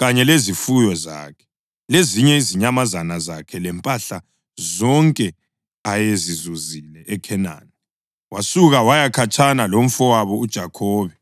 kanye lezifuyo zakhe lezinye izinyamazana zakhe lempahla zonke ayezizuzile eKhenani, wasuka waya khatshana lomfowabo uJakhobe.